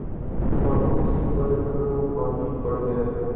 बहू जी पर घड़ों पानी पड़ गया